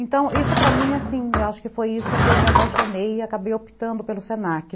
Então, isso para mim, assim, eu acho que foi isso que eu me apaixonei e acabei optando pelo se na que